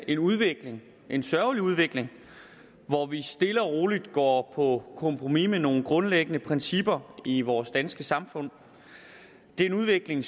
en udvikling en sørgelig udvikling hvor vi stille og roligt går på kompromis med nogle grundlæggende principper i vores danske samfund det er en udvikling